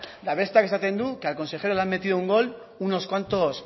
eta besteak esaten du que al consejero le han metido un gol unos cuantos